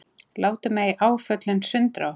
Látum ei áföllin sundra okkur.